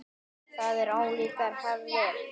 Þetta eru ólíkar hefðir.